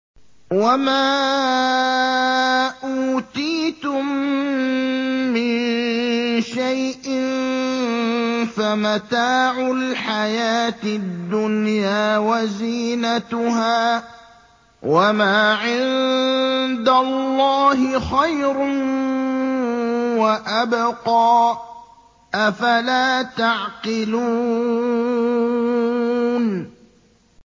وَمَا أُوتِيتُم مِّن شَيْءٍ فَمَتَاعُ الْحَيَاةِ الدُّنْيَا وَزِينَتُهَا ۚ وَمَا عِندَ اللَّهِ خَيْرٌ وَأَبْقَىٰ ۚ أَفَلَا تَعْقِلُونَ